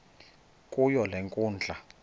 kuyo le nkundla